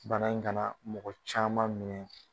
Bana in kana mɔgɔ caman minɛ.